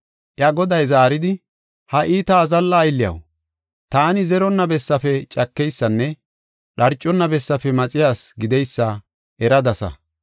“Iya goday zaaridi, ‘Ha iita azalla aylliyaw, taani zeronna bessafe cakeysanne dharcona bessafe maxiya asi gideysa eradasa.